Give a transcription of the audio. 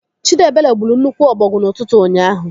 Chidiebere gburu nnukwu ọbọgwụ n'ụtụtụ ụnyaahụ.